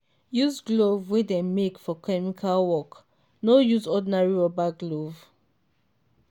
use glove wey dem make for chemical work no use ordinary rubber glove.